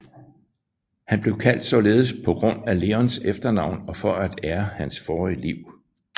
Han blev kaldt således på grund af Leos efternavn og for at ære hans forrige liv